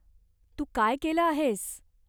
तू काय केलं आहेस?